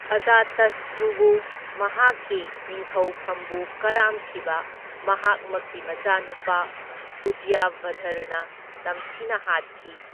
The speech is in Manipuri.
ꯑꯖꯥꯇꯁꯇ꯭ꯔꯨꯕꯨ ꯃꯍꯥꯛꯀꯤ ꯅꯤꯡꯊꯧꯐꯝꯕꯨ ꯀꯔꯥꯝꯈꯤꯕ ꯃꯍꯥꯛꯃꯛꯀꯤ ꯃꯆꯥꯅꯨꯄꯥ ꯎꯗꯌꯚꯗ꯭ꯔꯅ ꯇꯝꯊꯤꯅ ꯍꯥꯠꯈꯤ꯫